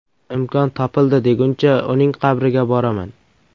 Imkon topildi deguncha uning qabriga boraman.